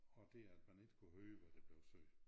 Og det at man ikke kunne høre hvad der blev sagt